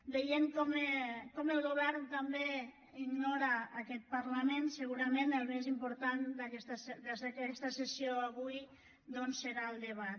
veient com el govern també ignora aquest parlament segurament el més important d’aquesta sessió avui doncs serà el debat